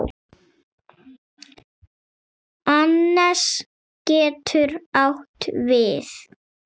Annes getur átt við